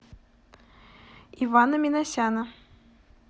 ивана минасяна